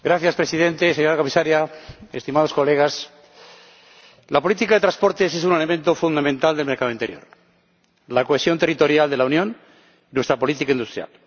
Señor Presidente, señora Comisaria, estimados colegas, la política de transportes es un elemento fundamental del mercado interior, la cohesión territorial de la Unión y nuestra política industrial.